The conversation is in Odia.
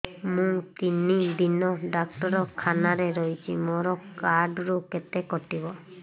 ମୁଁ ତିନି ଦିନ ଡାକ୍ତର ଖାନାରେ ରହିଛି ମୋର କାର୍ଡ ରୁ କେତେ କଟିବ